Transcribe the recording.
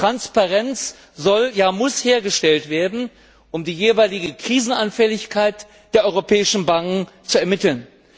Transparenz muss hergestellt werden, um die jeweilige Krisenanfälligkeit der europäischen Banken zu ermitteln.